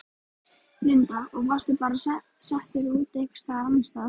Linda: Og varstu bara settur út einhvers staðar annars staðar?